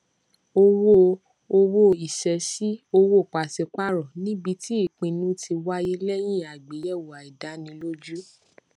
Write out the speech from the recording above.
owó owó ìṣesí owó pàṣípààrọ níbi tí ìpinnu ti wáyé lẹyìn àgbéyẹwò àìdánilójú